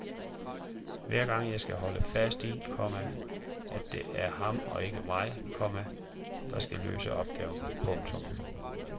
Hver gang skal jeg holde fast i, komma at det er ham og ikke mig, komma der skal løse opgaven. punktum